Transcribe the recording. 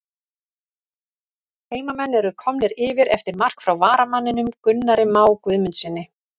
HEIMAMENN ERU KOMNIR YFIR EFTIR MARK FRÁ VARAMANNINUM GUNNARI MÁ GUÐMUNDSSYNI!!